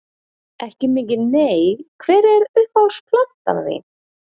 Ekki mikið nei Hver er uppáhalds platan þín?